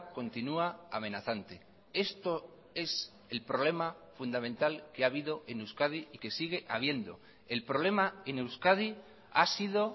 continua amenazante esto es el problema fundamental que ha habido en euskadi y que sigue habiendo el problema en euskadi ha sido